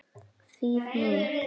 Þýð. mín.